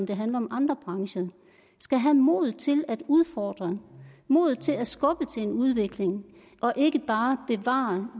det handler om andre brancher skal have modet til at udfordre modet til at skubbe til en udvikling og ikke bare bevare